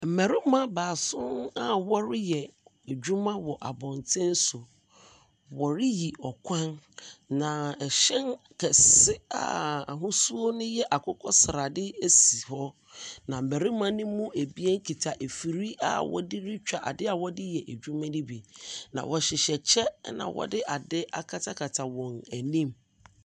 Mmarima baason a wɔreyɛ adwuma wɔ abɔnten so, woriyi ɔkwan, na ɛhyɛn kɛse a ahosuo no yɛ akokɔsrade asi hɔ, na mmarima ne mu abien kita afir a wɔde ritwa ade a wɔde reyɛ adwuma no ɛbi. Wɔhyehyɛ kyɛ, ɛna wɔde ade akatakata wɔn anim.